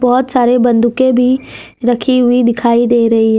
बहुत सारे बंदूकके भी रखी हुई दिखाई दे रही है।